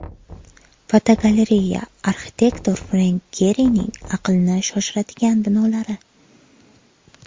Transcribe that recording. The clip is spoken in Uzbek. Fotogalereya: Arxitektor Frenk Gerining aqlni shoshiradigan binolari.